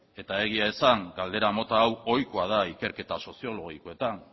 eta egia esan galdera mota hau ohikoa da ikerketa soziologikoetan